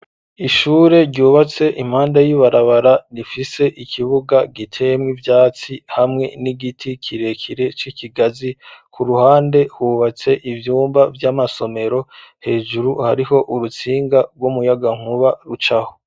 Ishure ryubatse impande y'ibarabara rifise ikibuga giteyemwo ivyatsi hamwe n'igiti kirekire c'ikigazi, ku ruhande hubatse ivyumba vy'amasomero, hejuru hariho urutsinga rw'umuyagankuba rucaho.